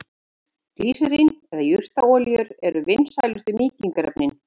Glýserín eða jurtaolíur eru vinsælustu mýkingarefnin.